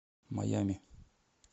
майами